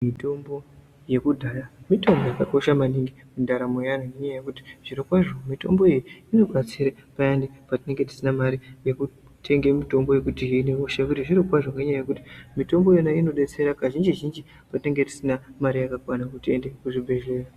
Mitombo yekudhaya mitombo yakakosha maningi mundaramo yeanhu nenyaya yekuti zvirokwazvo mitombo iyi inobatsira payani petinenge tisina mari yekutenge mitombo yekutihine hosha nekuti zvirokwazvo mitombo iyona inobetsera kazhinji-zhinji patinenge tisina mari yakakwana yekuti tiende kuzvibhedhlera.